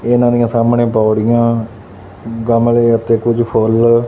ਇਹਨਾਂ ਦੀਆਂ ਸਾਹਮਣੇ ਪੌੜੀਆਂ ਗਮਲੇ ਅਤੇ ਕੁਝ ਫੁੱਲ--